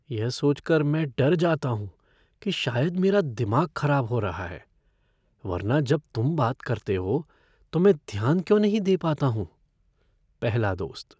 यह सोच कर मैं डर जाता हूँ कि शायद मेरा दिमाग खराब हो रहा है, वरना जब तुम बात करते हो तो मैं ध्यान क्यों नहीं दे पाता हूँ? पहला दोस्त